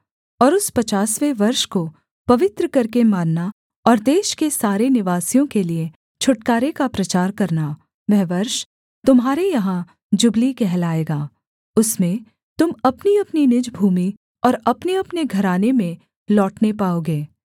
और उस पचासवें वर्ष को पवित्र करके मानना और देश के सारे निवासियों के लिये छुटकारे का प्रचार करना वह वर्ष तुम्हारे यहाँ जुबली कहलाए उसमें तुम अपनीअपनी निज भूमि और अपनेअपने घराने में लौटने पाओगे